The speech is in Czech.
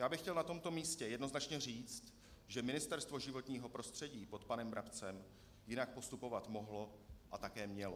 Já bych chtěl na tomto místě jednoznačně říct, že Ministerstvo životního prostředí pod panem Brabcem jinak postupovat mohlo a také mělo.